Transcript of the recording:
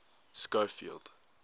schofield